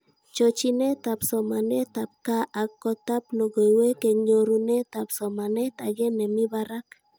Chochinetab somanet ab gaa ak kotab logoiwek eng nyorunetab somanet ake nemi barak